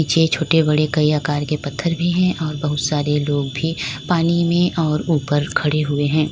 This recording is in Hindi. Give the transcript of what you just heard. ये छोटे बड़े कई आकर के पत्थर भी है और बहुत सारे लोग भी पानी में और ऊपर खड़े हुए हैं।